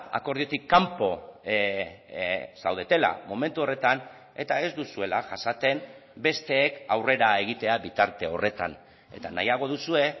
akordiotik kanpo zaudetela momentu horretan eta ez duzuela jasaten besteek aurrera egitea bitarte horretan eta nahiago duzue